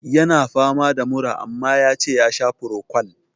Ya na fama da mura, amma ya ce ya sha frocwal.